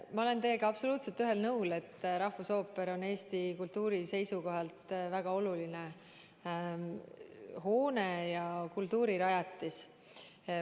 Ma olen teiega absoluutselt ühel nõul, et rahvusooperi hoone on Eesti kultuuri seisukohalt väga oluline kultuurirajatis.